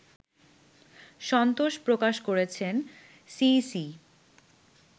সন্তোষ প্রকাশ করেছেন সিইসি